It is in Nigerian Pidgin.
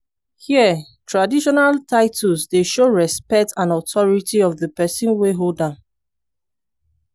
here traditional titles dey show respect and authority of di pesin wey hold am.